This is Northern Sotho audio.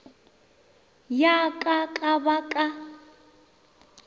ya ka ka ba ka